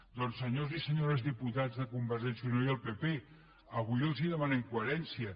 doncs senyors i senyores diputats de conver·gència i unió i el pp avui els demanem coherència